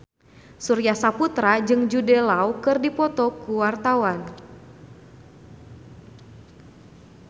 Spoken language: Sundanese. Surya Saputra jeung Jude Law keur dipoto ku wartawan